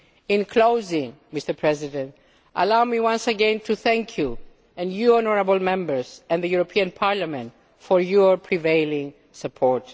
Tavares. In closing, Mr President, allow me once again to thank you, and the honourable Members, and the European Parliament, for your prevailing